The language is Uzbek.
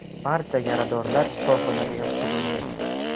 Barcha yaradorlar shifoxonaga yotqizildi.